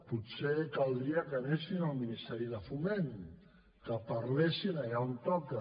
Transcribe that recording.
potser caldria que anessin al ministeri de foment que parlessin allà on toca